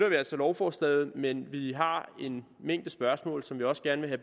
vi altså lovforslaget men vi har en mængde spørgsmål som vi også gerne vil